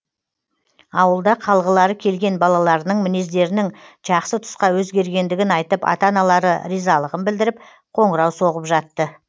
ауылда қалғылары келген балаларының мінездерінің жақсы тұсқа өзгергендігін айтып ата аналары ризалығын білдіріп қоңырау соғып жатты